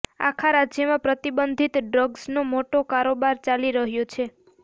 આખા રાજ્યમાં પ્રતિબંધિત ડ્રગ્સનો મોટો કારોબાર ચાલી રહ્યો છે